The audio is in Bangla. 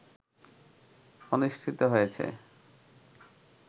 অনুষ্ঠিত হয়েছে